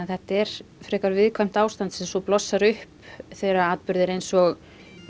þetta er frekar viðkvæmt ástand sem svo blossar upp þegar atburðir eins og